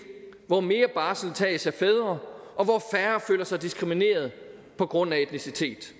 hvor mere barsel tages af fædre og hvor færre føler sig diskrimineret på grund af etnicitet